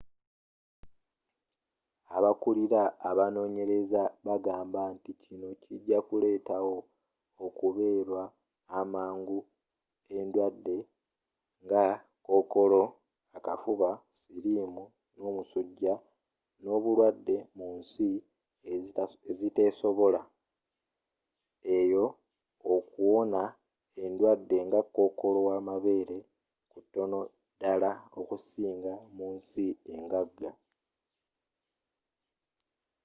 abakulira abanoonyereza bagamba nti kino kijakuleetawo okukeberwa amangu endwadde nga kookolo akafuba sirimu n'omusuja mu balwadde munsi eziteesobola eyo okuwona endwadde nga kokoolo wamabeere kutono ddala okusinga munsi engaga